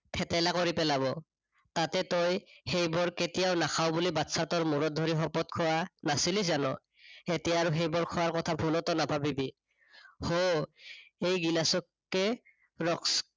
থেটেলা কৰি পেলাব। তাতে তই সেইবোৰ কেতিয়াও নাখাঁও বুলি বাচ্চাটোৰ মূৰত ধৰি শপত খোৱা নাছিলি জানো? এতিয়া আৰু সেইবোৰ খোৱা কথা ভুলটো নাভাবিবি। হু, এই গিলাচকে